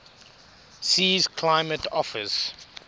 sea's climate offers